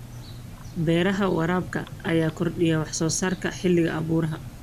Beeraha waraabka ayaa kordhiya wax soo saarka xilliga abaaruhu.